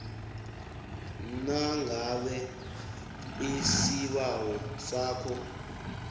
nangabe isibawo sakho